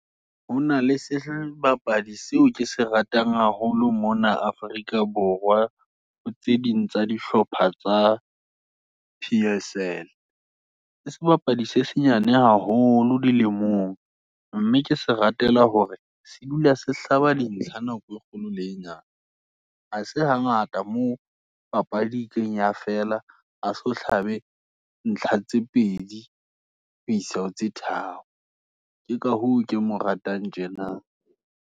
Ho na le sebapadi seo kese ratang haholo mona Afrika Borwa, ho tseding tsa dihlopha tsa P_S_L, ke sebapadi se senyane haholo, dilemong, mme ke se ratela hore, se dula se hlaba dintlha, nako e kgolo le e nyane. Ha se hangata moo, papadi ekileng fela a so hlabe ntlha tse pedi, ho isa ho tse tharo. Ke ka hoo ke mo ratang tjena.